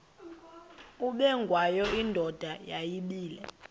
ubengwayo indoda yayibile